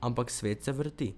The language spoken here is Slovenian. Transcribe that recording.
Ampak svet se vrti.